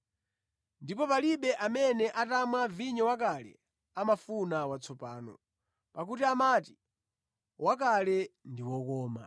Ndipo palibe amene atamwa vinyo wakale amafuna watsopano, pakuti amati, ‘Wakale ndi okoma.’ ”